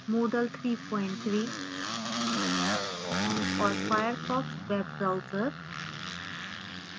moodle 33 and और firefox web browser web browser